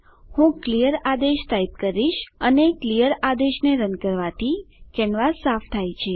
હું ક્લિયર આદેશ ટાઈપ કરીશ અને ક્લિયર આદેશને રન કરવાથી કેનવાસ સાફ થાય છે